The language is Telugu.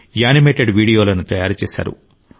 యానిమేటెడ్ వీడియోలను తయారు చేశారు